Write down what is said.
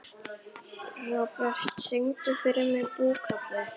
Robert, syngdu fyrir mig „Búkalú“.